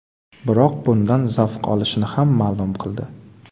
Biroq bundan zavq olishini ham ma’lum qildi.